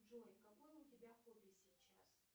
джой какое у тебя хобби сейчас